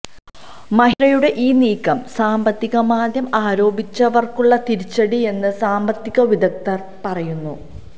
മഹീന്ദ്രയുടെ ഈ നീക്കം സാമ്പത്തിക മാന്ദ്യം ആരോപിച്ചവര്ക്കുള്ള തിരിച്ചടിയെന്ന് സാമ്പത്തിക വിദഗ്ദ്ധര് പറയുന്നു